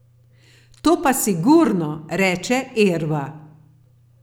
To pa sigurno, reče Erva.